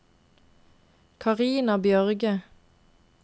Karina Bjørge